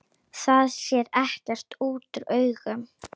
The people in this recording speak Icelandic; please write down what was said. Það sér ekki útúr augum.